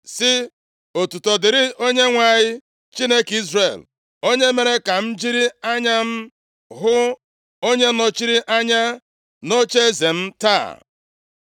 sị, ‘Otuto dịrị Onyenwe anyị, Chineke Izrel onye mere ka m jiri anya m hụ onye nọchiri anya nʼocheeze m taa.’ ”